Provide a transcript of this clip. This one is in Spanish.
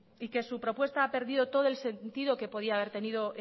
y que su propuesta ha perdido todo el sentido que podía haber tenido